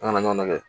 An ka ɲɔgɔn lagɛ